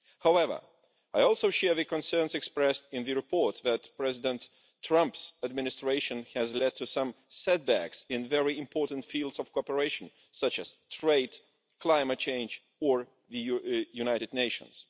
However, I also share the concerns expressed in the report that President Trump's administration has led to some set backs in very important fields of cooperation, such as trade, climate change or the United Nations.